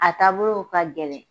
A taabolo o ka gɛlɛ